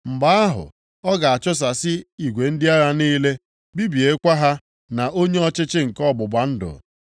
Mgbe ahụ, ọ ga-achụsasị igwe ndị agha niile, bibiekwa ha na onye ọchịchị nke ọgbụgba ndụ.